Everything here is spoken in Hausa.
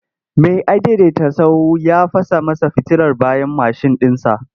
Mai adaidaita sahu ya fasa masa fitilar bayan mashin ɗinsa.